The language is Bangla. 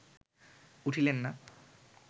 উঠিলেন না